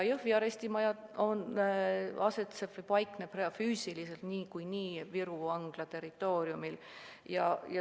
Jõhvi arestimaja paikneb füüsiliselt niikuinii Viru Vangla territooriumil.